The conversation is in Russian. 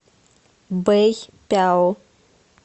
бэйпяо